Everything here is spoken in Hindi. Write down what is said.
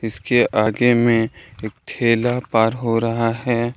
इसके आगे में एक ठेला पार हो रहा है।